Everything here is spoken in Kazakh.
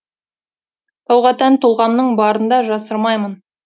тауға тән тұлғамның барында жасырмаймын